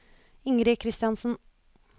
Ingrid Kristiansen